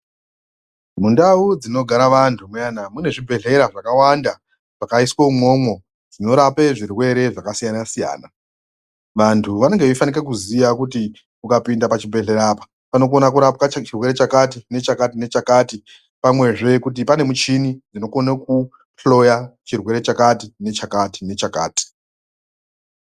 Mundau dzinogara vantu muyana, mune zvibhedhleya zvakawanda zvakaiswo imwomwo zvinorape zvirwere zvakasiyana siyana. Vantu vanenge veifanike kuziya kuti ukapinde pachibhedhleya apa panokona kurapwa chirwere chakati nechakati nechakati, pamwezve kuti pane michini dzinokona kuhloya chirwere chakati, nechakati, nechakati.